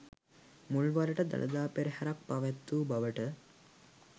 මුල්වරට දළදා පෙරහරක් පැවැත්වූ බවට